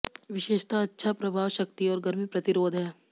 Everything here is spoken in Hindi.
विशेषता अच्छा प्रभाव शक्ति और गर्मी प्रतिरोध है